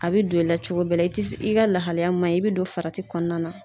A bɛ don i la cogo bɛɛ la i ti i ka lahalaya man ɲi i bɛ don farati kɔnɔna na.